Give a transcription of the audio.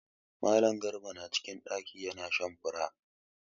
Mallam garba na cikin ɗaki ya na shan fura.